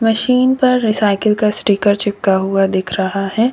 Machine पर recycle का sticker चिपका हुआ दिख रहा है।